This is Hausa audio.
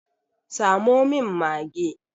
Samo min mage!